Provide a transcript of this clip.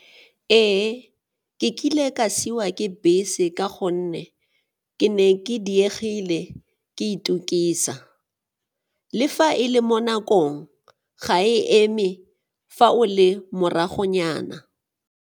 Ee, ke kile ka siwa ke bese ka gonne ke ne ke diegile ke itukisa. Le fa e le mo nakong, ga e eme fa o le moragonyana.